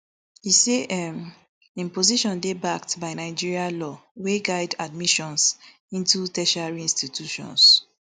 e say um im position dey backed by nigeria law wey guide admissions into tertiary institutions